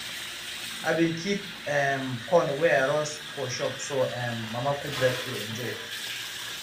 i bin keep um corn wey i roast for shop so um mama kudirat go enjoy